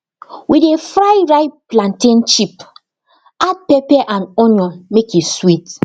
we dey fry ripe plantain chip add pepper and onion make e sweet